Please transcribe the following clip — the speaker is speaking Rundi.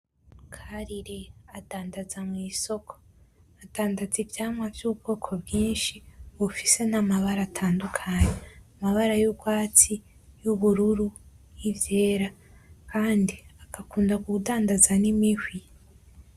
Karire adandaza mu isoko ivyamwa vy’ubwoko bwishi bufise n’amabara atandukanye amabara y’urwatsi, y’ubururu, y’ivyera kandi agakunda kudandaza n’imihwi.